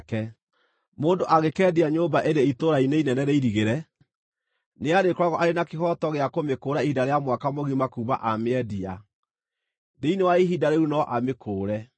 “ ‘Mũndũ angĩkeendia nyũmba ĩrĩ itũũra-inĩ inene rĩirigĩre, nĩarĩkoragwo arĩ na kĩhooto gĩa kũmĩkũũra ihinda rĩa mwaka mũgima kuuma amĩendia. Thĩinĩ wa ihinda rĩu no amĩkũũre.